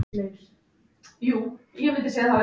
Magna, hvernig er veðrið úti?